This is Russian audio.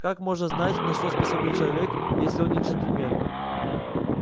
как можно знать на что способен человек если он не джентльмен